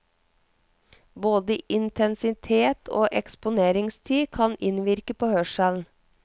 Både intensitet og eksponeringstid kan innvirke på hørselen.